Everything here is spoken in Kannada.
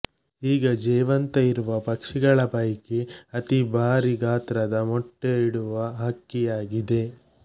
ಈಗ ಜೇವಂತ ಇರುವ ಪಕ್ಷಿಗಳ ಪೈಕಿ ಅತಿ ಭಾರಿ ಗಾತ್ರದ ಮೊಟ್ಟೆ ಇಡುವ ಹಕ್ಕಿ ಆಗಿದೆ